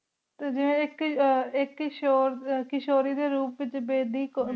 ਜੀ ਆਇਕ ਹੀ ਆਇਕ ਕਾਸ਼ੁਰੀ ਡੀ ਰੂਪ ਵੇਚ ਨੇੰਤੇ ਸਿਕ੍ਸ੍ਤੇ ਸਿਕ੍ਸ ਤਨੀ ਜੇਪਿਓਂ ਦਾ ਤਰਕ ਪਹਨਾਯਾ ਗਯਾ ਸੇ ਗਾ ਹਨ ਨਾ